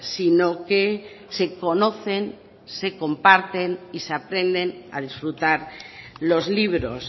sino que se conocen se comparten y se aprenden a disfrutar los libros